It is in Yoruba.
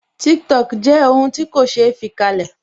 Tiktok jẹ́ ohun ti ko se fi kalẹ̀